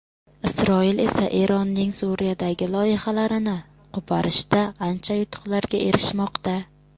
Isroil esa Eronning Suriyadagi loyihalarini qo‘porishda ancha yutuqlarga erishmoqda.